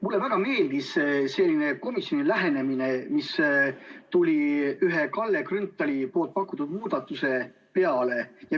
Mulle väga meeldis komisjoni lähenemine, mis tuli ühe Kalle Grünthali pakutud muudatuse peale.